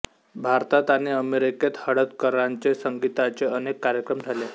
भारतात आणि अमेरिकेत हळदणकरांचे संगीताचे अनेक कार्यक्रम झाले